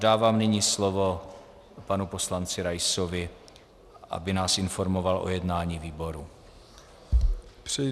Dávám nyní slovo panu poslanci Raisovi, aby nás informoval o jednání výboru.